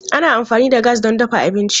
Ana amfani da gas don dafa abinci.